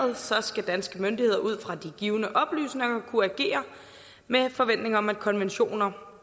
skal danske myndigheder ud fra de givne oplysninger kunne agere med forventning om at konventioner